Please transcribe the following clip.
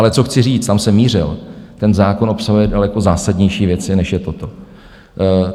Ale co chci říct, tam jsem mířil, ten zákon obsahuje daleko zásadnější věci, než je toto.